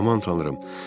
Aman tanrım.